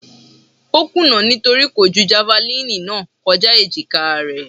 Ó kùnà nítorí kò ju javalínì náà kọjá èjìkáa rẹ̀.